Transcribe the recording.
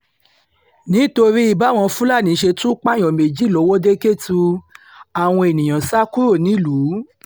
nítorí báwọn fúlàní ṣe tún pààyàn méjì lọ́wọ́de-kẹ́tù àwọn èèyàn sá kúrò nílùú